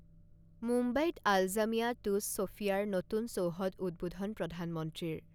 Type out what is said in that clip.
মুম্বাইত আলজামিয়া টুছ ছৈফিয়াৰ নতুন চৌহদ উদ্বোধন প্ৰধানমন্ত্ৰীৰ